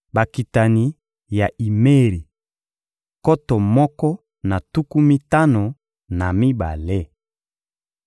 Bakitani ya Imeri: nkoto moko na tuku mitano na mibale.